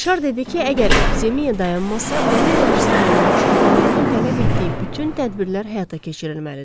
Rişar dedi ki, əgər epidemiya dayanmasa, onun qarşısını almaq üçün qanunun tələb etdiyi bütün tədbirlər həyata keçirilməlidir.